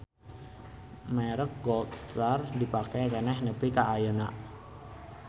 Merek Gold Star dipake keneh nepi ka ayeuna